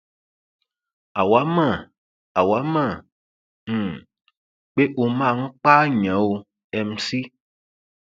àwa mọ àwa mọ um pé ó máa ń pààyàn o mc